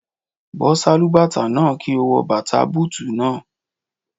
Bọ́ Sálúbàtà náà, kí o wọ bàtà bútùù náà.